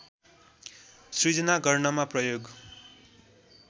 सृजना गर्नमा प्रयोग